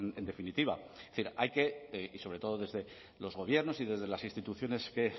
en definitiva es decir hay que y sobre todo desde los gobiernos y desde las instituciones que